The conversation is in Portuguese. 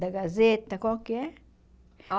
Da Gazeta, qual que é? A